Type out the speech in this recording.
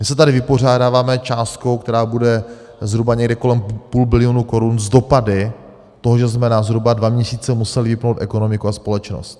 My se tady vypořádáváme částkou, která bude zhruba někde kolem půl bilionu korun, s dopady toho, že jsme na zhruba dva měsíce museli vypnout ekonomiku a společnost.